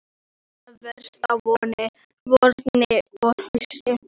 Þeir láta verst á vorin og haustin.